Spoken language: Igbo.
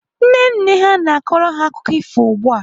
Nne nne ha na-akọrọ ha akụkọ ifo ugbu a.